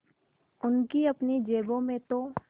उनकी अपनी जेबों में तो